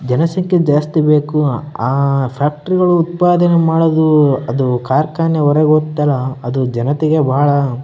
ಜನ ಸಂಖ್ಯೆ ಜಕ್ಸ್ಟಿ ಬೇಕು ಆ ಫಾಕ್ಟ್ರಿ ಗುಳು ಉತ್ಪಾದನೆ ಮಾಡೋದೂ ಅದು ಕಾರ್ಖಾನೆ ಹೊರಗ್ ಒಗ್ತಲ್ಲ ಅದು ಜನತೆಗೆ ಬಾಳ --